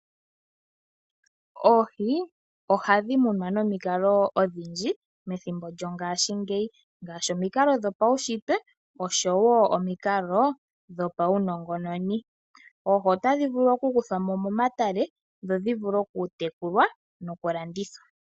Oohi ohadhi munwa nomikalo odhindji methimbo lyongashi ngeyi, ngashi omikalo dho paushitwe osho wo omikalo dho pawu nongononi. Oohi otadhi vulu oku kuthwamo momatale dho dhi vulu oku tekulwa noku landithwa.